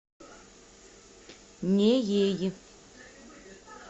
неей